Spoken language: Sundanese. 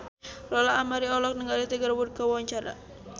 Lola Amaria olohok ningali Tiger Wood keur diwawancara